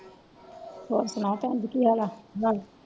ਹੋਰ ਸੁਣਾਓ ਪੈਂਜੀ ਕਿ ਹਾਲ ਆ